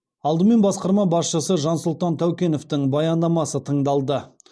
алдымен басқарма басшысы жансұлтан тәукеновтің баяндамасы тыңдалды